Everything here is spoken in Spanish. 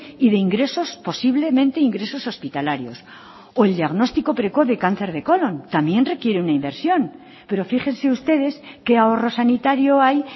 y de ingresos posiblemente ingresos hospitalarios o el diagnóstico precoz de cáncer de colón también requiere una inversión pero fíjense ustedes qué ahorro sanitario hay